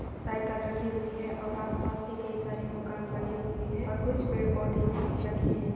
Cycle रखी हुई है और आस पास भी कई सारे मकान बने हुए हैं और कुछ पेड़ पौधे भी लगे हैं।